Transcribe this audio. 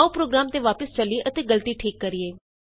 ਆਉ ਪ੍ਰੋਗਰਾਮ ਤੇ ਵਾਪਸ ਚਲੀਏ ਅਤੇ ਗਲਤੀ ਠੀਕ ਕਰੀਏ